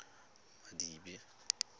madibe